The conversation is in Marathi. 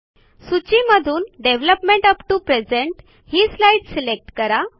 सूची मधून डेव्हलपमेंट अप टीओ प्रेझेंट ही स्लाईड सिलेक्ट करा